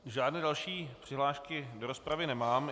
Žádné další přihlášky do rozpravy nemám.